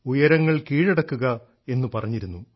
ഉയരങ്ങൾ കീഴടക്കുക എന്ന് പറഞ്ഞിരുന്നു